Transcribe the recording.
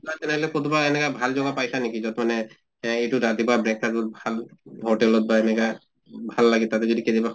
খোৱা তেনেহʼলে কতোবা এনেকা ভাল জগা পাইছা নেকি যʼত মানে এহ এইটো ৰাতিপুৱা breakfast ভাল hotel ত বা এনেকা ভাল লাগে তাতে যদি কেতিয়াবা